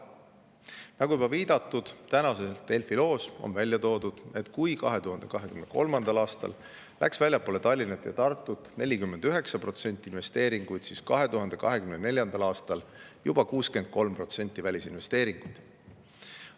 Nagu juba viidatud, tänases Delfi loos on välja toodud, et kui 2023. aastal läks väljapoole Tallinna ja Tartut 49% investeeringutest, siis 2024. aastal juba 63% välisinvesteeringutest.